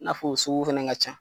N'a f'o o sugu fana ka ca.